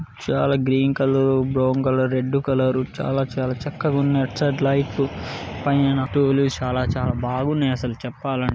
చాలా green colour brown colour red colour చాలా చాలా చక్కగా ఉంది. అటు సైడ్ లైట్లు పైన చాలా చాలా బాగున్నాయి అసలు చెప్పాలం--